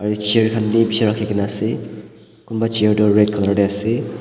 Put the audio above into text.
Etu chair khan bhi beshi rakhikena ase kunba chair tuh red colour dae ase.